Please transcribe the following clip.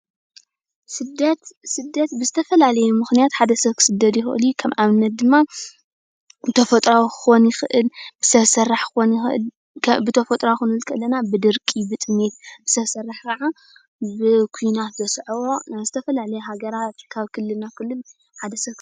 ሰደት ብዝተፈላለዪ ምክንያትሓደ ሰብ ክስደድ ይኽእል እዩ። ከም ኣብነት ድማ ተፈጥሮአዊ ክኾን ይኽእል ፣ሰብ ሰራሕ ክኾን ይኽእል፣ ብተፈጥሮአዊ ክንብል ከለና ብድርቂ ፣ብጥሜት ፣ ሰብ ሰራሕ ከዓ ብ ኩናት ዘስዐቦ ናብ ዝተፈላለየ ሃገራት ካብ ክልል ናብ ክልል ሓደ ሰብ....